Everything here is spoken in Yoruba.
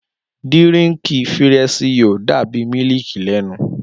Dírìnkí firẹṣiyò dàbí mílìkí lẹnu.